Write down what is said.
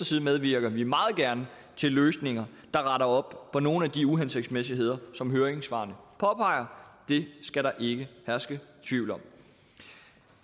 side medvirker vi meget gerne til løsninger der retter op på nogle af de uhensigtsmæssigheder som høringssvarene påpeger det skal der ikke herske tvivl om